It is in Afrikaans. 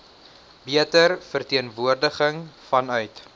beter verteenwoordiging vanuit